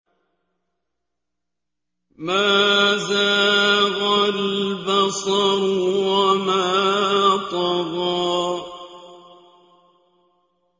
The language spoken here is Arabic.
مَا زَاغَ الْبَصَرُ وَمَا طَغَىٰ